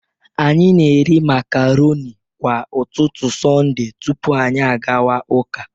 Anyị na-eri macaroni kwa ụtụtụ Sonde tupu anyị agawa ụka